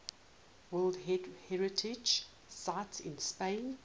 world heritage sites in spain